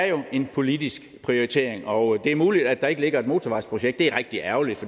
jo en politisk prioritering og det er muligt at der ikke ligger et motorvejsprojekt det er rigtig ærgerligt